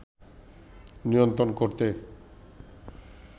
নিয়ন্ত্রণ করতে